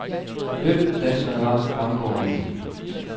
Hvem, danskerne var, fremgår ikke.